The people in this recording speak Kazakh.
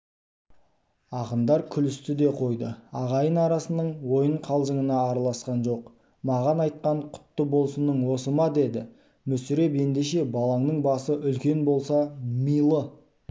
ақындар күлісті де қойды ағайын арасының ойын-қалжыңына араласқан жоқ маған айтқан құтты болсының осы ма деді мүсіреп ендеше балаңның басы үлкен болса милы